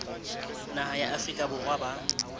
naha ya afrika borwa ba